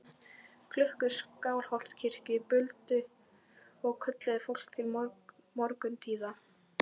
Klukkur Skálholtskirkju buldu og kölluðu fólk til morguntíða.